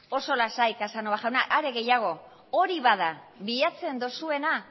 oso lasai casanova jauna are gehiago hori bada bilatzen dozuena